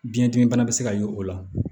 Biyɛn dimi bana bɛ se ka ye o la